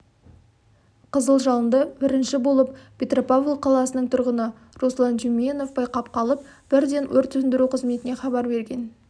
қызыл жалындыбірінші болып петропавл қаласының тұрғыны руслан тюменев байқап қалып бірден өрт сөндіру қызметіне хабар берген